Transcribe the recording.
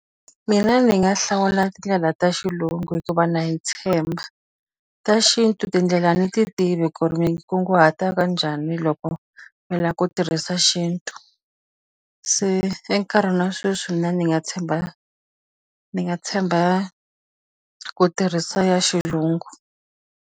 Mina ndzi nga hlawula tindlela ta xilungu hikuva na yi tshemba. Ta xintu tindlela ni ti tivi ku ri mi kunguhata ka njhani loko mi lava ku tirhisa xintu. Se enkarhini wa sweswi mina ndzi nga tshemba ndzi nga tshemba ku tirhisa ya xilungu.